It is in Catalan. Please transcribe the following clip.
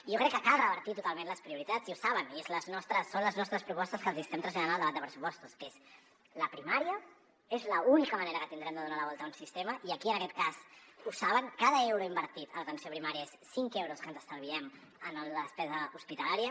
i jo crec que cal revertir totalment les prioritats i ho saben i són les nostres propostes que els estem traslladant al debat de pressupostos que és la primària és l’única manera que tindrem de donar la volta a un sistema i aquí en aquest cas ho saben cada euro invertit a l’atenció primària són cinc euros que ens estalviem en la despesa hospitalària